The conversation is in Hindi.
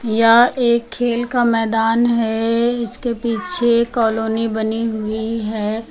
यह एक खेल का मैदान है इसके पीछे कॉलोनी बनी हुई है।